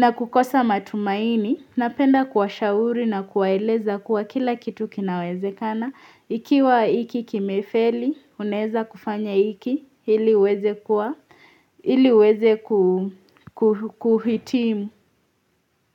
na kukosa matumaini. Napenda kuwashauri na kuwaeleza kuwa kila kitu kinawezekana, ikiwa hiki kimefeli, unaweza kufanya hiki, ili uweze kuhitimu.